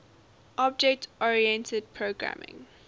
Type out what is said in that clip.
object oriented programming